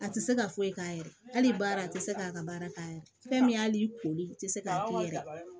A tɛ se ka foyi k'a yɛrɛ ye hali baara a tɛ se k'a ka baara k'a yɛrɛ ye fɛn min y'a i koli u tɛ se k'a kɛ yɛrɛ